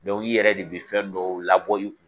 i yɛrɛ de bɛ fɛn dɔw labɔ i